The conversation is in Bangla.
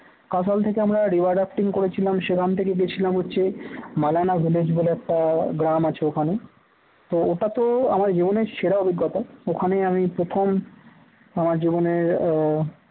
কাঁশাল থেকে আমরা river rafting করেছিলাম সেখান থেকে গেছিলাম হচ্ছে মালানা village বলে একটা গ্রাম আছে ওখানে তো ওটা তো আমার জীবনের সেরা অভিজ্ঞতা ওখানে আমি প্রথম আমার জীবনের আহ